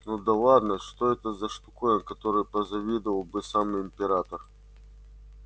ну да ладно что это за штуковина которой позавидовал бы сам император